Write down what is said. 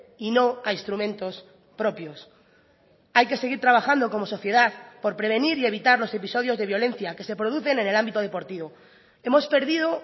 y no a instrumentos propios hay que seguir trabajando como sociedad por prevenir y evitar los episodios de violencia que se producen en el ámbito deportivo hemos perdido